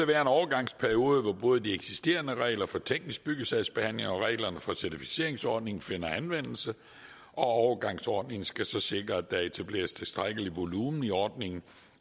være en overgangsperiode hvor både de eksisterende regler for teknisk byggesagsbehandling og reglerne for certificeringsordningen finder anvendelse og overgangsordningen skal så sikre at der etableres tilstrækkelig volumen i ordningen